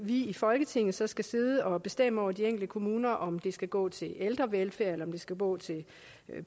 i folketinget så skal sidde og bestemme over de enkelte kommuner altså om det skal gå til ældrevelfærd eller om det skal gå til